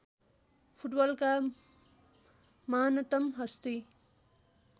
फुटबलका महानतम् हस्ती